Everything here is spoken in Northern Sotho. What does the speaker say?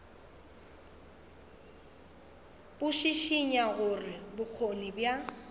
bo šišinya gore bokgoni bja